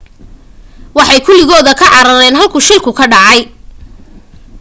waxay kuligooda ka carareen halkuu shilka ka dhacay